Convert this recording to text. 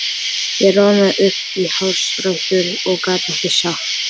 Ég roðnaði upp í hársrætur og gat ekkert sagt.